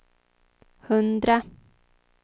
hundra